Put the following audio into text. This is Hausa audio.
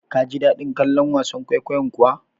Kaji daɗin kallon wasan kwaikwayon kuwa?